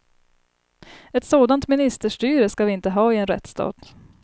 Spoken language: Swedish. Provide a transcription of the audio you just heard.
Ett sådant ministerstyre ska vi inte ha i en rättsstat.